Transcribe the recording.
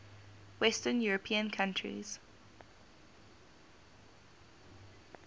western european countries